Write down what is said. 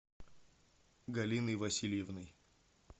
галиной васильевной